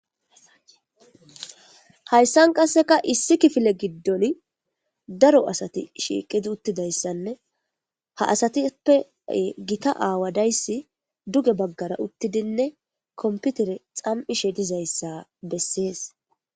hayssan qasseka issi kifile giddon daro asati shiiqidi uttidayssanne ha asatippe gita aawa dayssi duge baggara uttidinne komputere xam7ishe dizayssa bessees